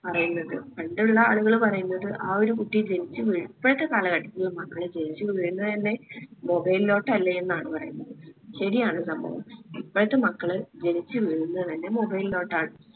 പറയുന്നത് പണ്ടുള്ളആളുകൾ പറയുന്നത് ആ ഒരു കുട്ടി ജനിച്ച് വീഴ് ഇപ്പോഴത്തെ കാലഘട്ടത്തില് മക്കള് ജനിച്ച് വീഴുന്നത് തന്നെ mobile ലോട്ടല്ലേ എന്നാണ് പറയുന്നത് ശെരിയാണ് സംഭവം. ഇപ്പോഴത്തെ മക്കള് ജനിച്ച് വീഴുന്നത് തന്നെ mobile ലോട്ടാണ്